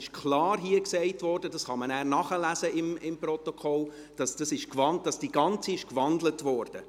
Es wurde aber hier klar gesagt – und man kann dies dann im Protokoll nachlesen –, dass das Ganze gewandelt wurde.